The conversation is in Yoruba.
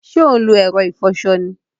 Sé o n lo èro ìfoso ni?